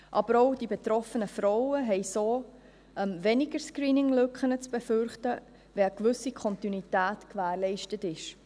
Aber auch die betroffenen Frauen haben so weniger Screening-Lücken zu befürchten, wenn eine gewisse Kontinuität gewährleistet ist.